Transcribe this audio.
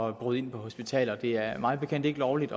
at bryde ind på hospitaler det er mig bekendt ikke lovligt